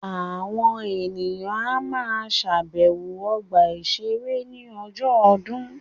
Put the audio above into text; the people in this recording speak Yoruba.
Àwọn èèyàn á ma ṣàbẹ̀wọ̀ ọgbà-ìṣeré ní ọjọ́ ọdún